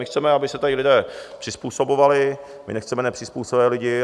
My chceme, aby se tady lidé přizpůsobovali, my nechceme nepřizpůsobivé lidi.